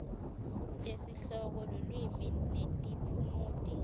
tesihloko lulwimi netiphumuti